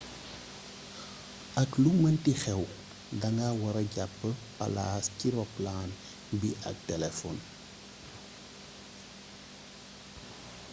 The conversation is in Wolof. ak lu meenti xéw danga wara jap palas ci ropalaan bi ak téléfon